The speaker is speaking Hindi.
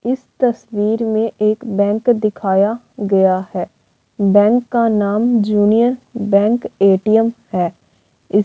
इस तस्वीर में एक बैंक दिखाया गया है। बैंक का नाम जूनीय बैंक एटीएम है। इस --